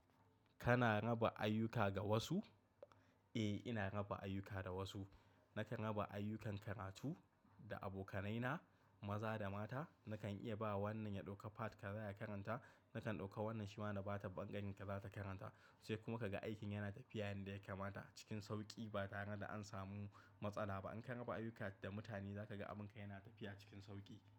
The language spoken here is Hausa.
Kana raba ayyuka da wasu? Eh, ina raba ayyuka da wasu. Nakan raba ayyukan karatu da abokanaina, maza da mata. Nakan iya ba wa wannan ya ɗauka part ka za ya karanta, nakan ɗauka wannan shi ma na ba ta bangon kaza ta karanta. Sai kuma kaga aikin yana tafiya yanda yake mata cikin sauƙi ba tare da an samu matsala ba. In ka raba ayyuka da mutane za ka ga abin ka yana tafiya cikin sauƙi.